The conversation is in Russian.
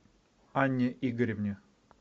анне игоревне